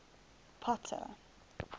potter